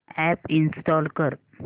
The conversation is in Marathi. अॅप इंस्टॉल कर